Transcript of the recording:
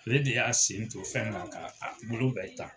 Ale de y'a sen to fɛn na ka a bolo bɛɛ ta.